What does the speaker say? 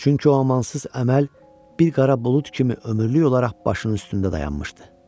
Çünki o amansız əməl bir qara bulud kimi ömürlük olaraq başının üstündə dayanmışdı.